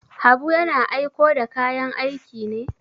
Habu yana aiko da kayan aiki ne?